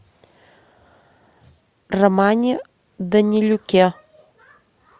романе данилюке